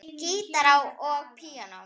Gítar og píanó.